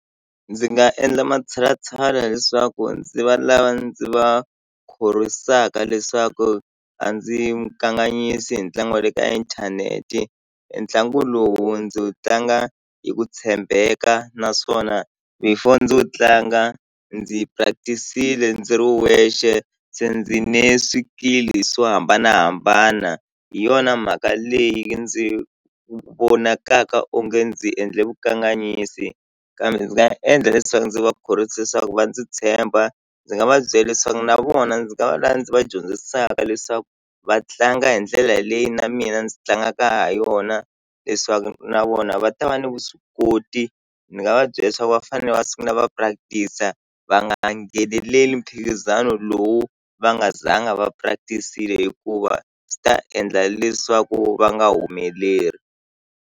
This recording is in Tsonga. Ndzi nga endla matshalatshala leswaku ndzi va lava ndzi va khorwisaka leswaku a ndzi kanganyisi hi ntlangu wa le ka inthanete e ntlangu lowu ndzi wue tlanga hi ku tshembeka naswona before ndzi wu tlanga ndzi practice-ile ndzi ri wexe se ndzi ne swikili swo hambanahambana hi yona mhaka leyi ndzi vonakaka onge ndzi endle vukanganyisi kambe ndzi nga endla leswaku ndzi va khorwisa leswaku va ndzi tshemba ndzi nga va byela leswaku na vona ndzi nga va lava ndzi va dyondzisaka leswaku va tlanga hi ndlela leyi na mina ndzi tlangaka ha yona leswaku na vona va ta va ni vuswikoti ni nga va byela leswaku va fanele va sungula va practice-a va nga ngheneleli mphikizano lowu va nga zanga va practic-ile hikuva swi ta endla leswaku va nga humeleli.